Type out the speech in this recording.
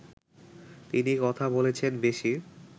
তিনি কথা বলেছেন বেশি